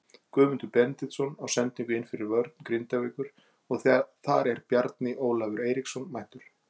Guðmundur Benediktsson á sendingu inn fyrir vörn Grindavíkur og þar er Bjarni Ólafur Eiríksson mættur.